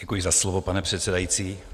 Děkuji za slovo, pane předsedající.